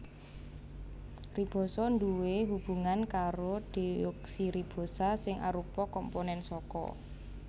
Ribosa duwé hubungan karo deoksiribosa sing arupa komponèn saka